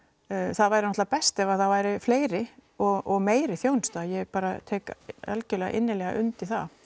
það væri náttúrlega best ef það væru fleiri og meira þjónusta ég bara tek algjörlega innilega undir það